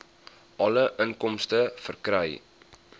alle inkomste verkry